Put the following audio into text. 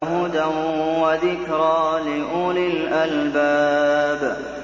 هُدًى وَذِكْرَىٰ لِأُولِي الْأَلْبَابِ